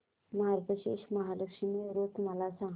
मार्गशीर्ष महालक्ष्मी व्रत मला सांग